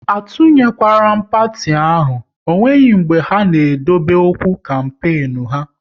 A tunyekwala parti ahụ, ọ nweghị mbe ha ji e dobe nkwa kampenu ha!